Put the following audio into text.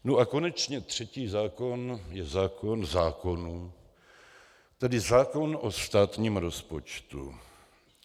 Nu a konečně třetí zákon je zákon zákonů, tedy zákon o státním rozpočtu.